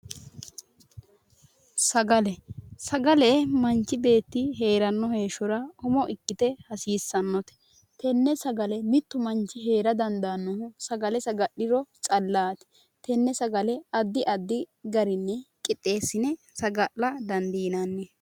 Sagale. Sagale manchi beetti heeranno heeshshora umo ikkite hasiissannote. Tenne sagale mittu manchi heera dandaannohu sagale saga'liro callaati. Tenne sagale addi addi garinni qixxeessine saga'la dandiinanni.